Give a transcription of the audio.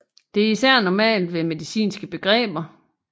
Det er især normalt ved medicinske begreber